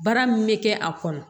Baara min bɛ kɛ a kɔnɔ